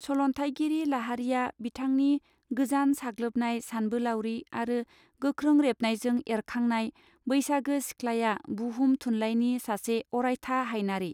सल न्थाइगिरि लाहारीया बिथांनि गोजान साग्लोबनाय सानबोलारि आरो गोख्रों रेबनायजों एरखांनाय बैसागी सिख्ला या बुहुम थुनलाइनि सासे अरायथा हायनारि.